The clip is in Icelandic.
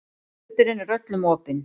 Fundurinn er öllum opinn